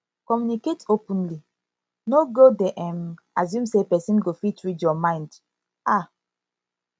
communicate openly no go dey um assume say pesin go fit read yur mind um